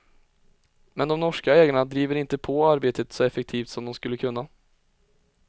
Men de norska ägarna driver inte på arbetet så effektivt som de skulle kunna.